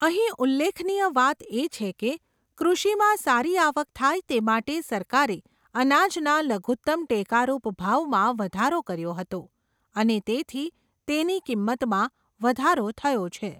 અહીં ઉલ્લેખનીય વાત એ છે કે, કૃષિમાં સારી આવક થાય તે માટે સરકારે અનાજના લઘુત્તમ ટેકારૂપ ભાવમાં વધારો કર્યો હતો, અને તેથી તેની કિંમતમાં વધારો થયો છે.